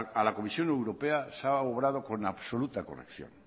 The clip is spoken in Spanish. a la comisión europea se ha obrado con absoluta corrección